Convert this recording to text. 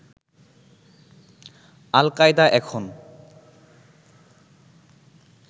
আল Qaeda এখন